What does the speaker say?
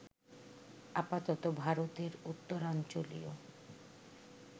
আপাতত ভারতের উত্তরাঞ্চলীয়